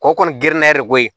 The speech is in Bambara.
Kɔ kɔni gɛrɛnna yɛrɛ ko